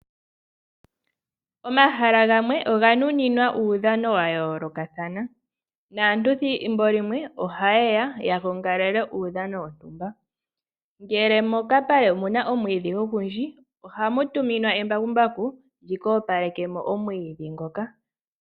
Omahala gamwe oga nuninwa uudhano wa yoolokathana naantu ethimbo limwe oha yeya ya gongalele uudhano wontumba uuna mokapale mu na omwiidhi ogundji ohamu tuminwa embakumbaku ndjoka tali opalekamo omwiidhi.